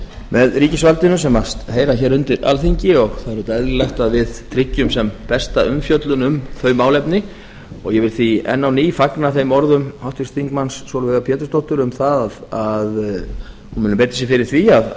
með ríkisvaldinu sem heyra hér undir alþingi og það er auðvitað eðlilegt að við tryggjum sem besta umfjöllun um þau málefni ég vil því enn á ný fagna þeim orðum háttvirts þingmanns sólveigar pétursdóttur um það að hún muni beita sér fyrir því að